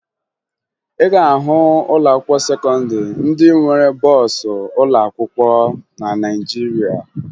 Ị ga-ahụ ụlọakwụkwọ sekọndịrị ndị nwere bọọsụ ụlọakwụkwọ na Naịjirịa